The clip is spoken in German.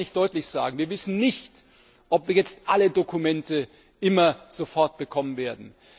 Eines kann ich deutlich sagen Wir wissen nicht, ob wir jetzt alle Dokumente immer sofort bekommen werden.